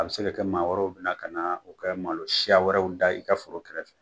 A bi se kɛ maa wɛrɛw bina o ka malo siya wɛrɛw da i ka foro kɛrɛfɛ